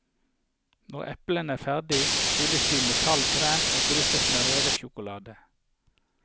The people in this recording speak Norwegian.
Når eplene er ferdige, fylles de med kald krem og drysses med revet sjokolade.